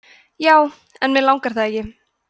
já en mig langar það ekki